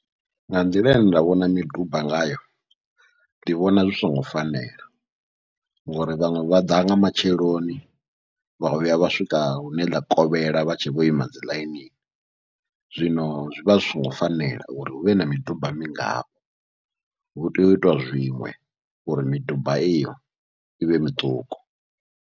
Nga nḓila ine nda vhona miduba ngayo ndi vhona zwi songo fanela, ngauri vhaṅwe vha ḓa nga matsheloni vha vhuya vha swika hune ḽa kovhela vha tshe vho ima dziḽainini, zwino zwivha zwi songo fanela uri huvhe na miduba mingafho, hu tea uitiwa zwiṅwe uri miduba iyo ivhe miṱuku.